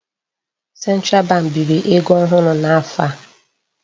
Central bank biri ego ohụrụ n'afọ a.